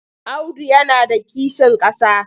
Audu yana da kishin ƙasa.